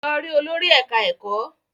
Lọ rí olórí ẹ̀ká ẹ̀kọ́!